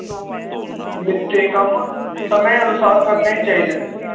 ਕੰਮ ਸਮੇ ਅਨੁਸਾਰ ਕਰਨੇ ਚਾਹੀਦੇ ਨੇ